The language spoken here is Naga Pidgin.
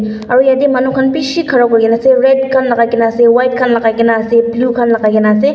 aru yatae manu khan bishi khara kurikae ase red khan lakai na ase white khan lakaikae na ase blue khan lakai kena ase.